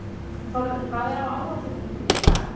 Þórður, hvað er á áætluninni minni í dag?